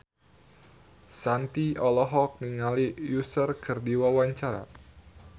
Shanti olohok ningali Usher keur diwawancara